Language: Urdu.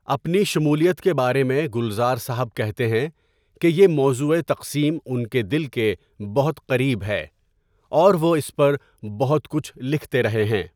اپنی شمولیت کے بارے میں گلزار صاحب کہتے ہیں کہ 'یہ موضوع تقسیم ان کے دل کے بہت قریب ہے' اور وہ 'اس پر بہت کچھ لکھتے رہے ہیں.